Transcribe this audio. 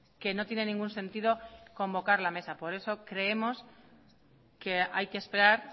que no tiene ningún sentido convocar la mesa por eso creemos que hay que esperar